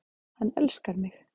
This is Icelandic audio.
Hann elskar mig